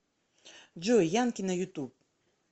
джой янки на ютуб